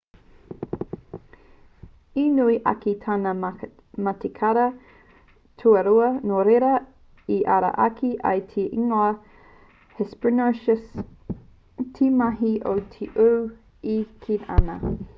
i nui ake tana matikara tua rua nō reira i ara ake ai te ingoa hesperonychus te mati o te uru e kī ana